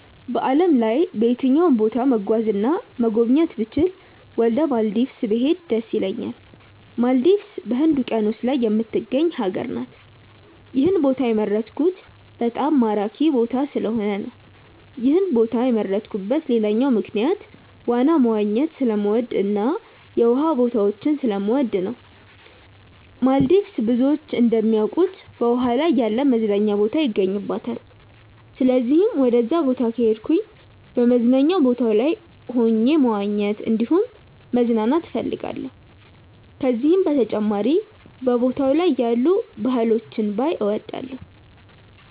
በዓለም ላይ በየትኛውም ቦታ መጓዝ እና መጎብኘት ብችል ወደ ማልዲቭስ ብሄድ ደስ ይለኛል። ማልዲቭስ በህንድ ውቂያኖስ ላይ የምትገኝ ሀገር ናት። ይህን ቦታ የመረጥኩት በጣም ማራኪ ቦታ ስለሆነ ነው። ይህን ቦታ የመረጥኩበት ሌላኛው ምክንያት ዋና መዋኘት ስለምወድ እና የውሃ ቦታዎችን ስለምወድ ነው። ማልዲቭስ ብዙዎች እንደሚያውቁት በውሃ ላይ ያለ መዝናኛ ቦታ ይገኝባታል። ስለዚህም ወደዛ ቦታ ከሄድኩ በመዝናኛ ቦታው ላይ ሆኜ መዋኘት እንዲሁም መዝናናት እፈልጋለሁ። ከዚህም በተጨማሪ በቦታው ላይ ያሉ ባህሎችን ባይ እወዳለሁ።